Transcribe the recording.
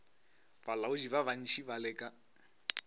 balaodi ba bantši ba leka